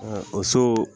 o so